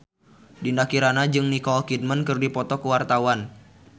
Dinda Kirana jeung Nicole Kidman keur dipoto ku wartawan